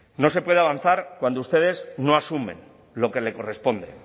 no se puede avanzar cuando ustedes no asumen lo que le corresponde